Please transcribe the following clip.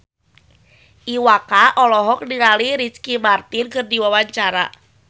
Iwa K olohok ningali Ricky Martin keur diwawancara